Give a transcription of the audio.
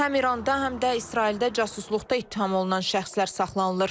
Həm İranda, həm də İsraildə casusluqda ittiham olunan şəxslər saxlanılır.